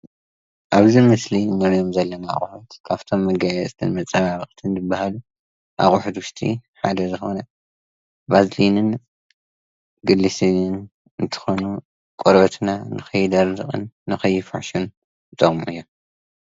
ኣብዚ ምስሊ እንሪኦም ዘለና ኣቁሑት ኣብቶም መጋየፅታት መፀባብቅን ዝበሃሉ እቁሑት ውሽጢ ሓደ ዝኮነ ቫዝሊኒን ግሪስሊንን እንቲ ኮኑ ቆርበትና ንከይደርቅን ንከይፍሕሹን ይጠቅሙና እዮም።